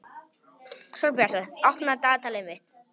Sólbjartur, opnaðu dagatalið mitt.